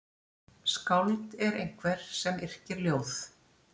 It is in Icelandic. Skáld er einhver sem yrkir ljóð.